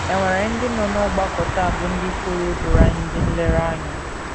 È nwere ndị nọ n’ọgbakọ taa bụ́ ndị pụrụ ịbụrụ anyị ndị nlereanya?